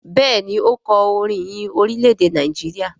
Béèni o kò orin ìyìn Orilẹ-ede Nàìjíríà.